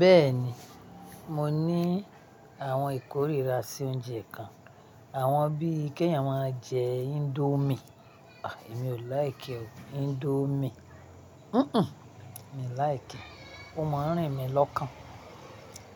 Bẹ́ẹ̀ni, mo ní àwọn ìkórìíra sí oúnjẹ kan. Àwọn bí í kẹ́yìn máa ń jẹ indomie. Èmi ò like e oo, indomie. Mí like e. O máa ń rìn mí lọ́kàn.